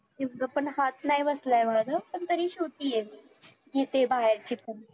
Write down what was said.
एवढा पण हात नाही बसला एवढा अजून पण तरी शिकवतेय मी घेतेय बाहेरचे पण